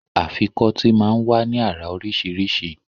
Afikọ́tì máa ń wá ní àrà oríṣiríṣi